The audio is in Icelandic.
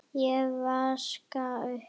Ég vaska upp.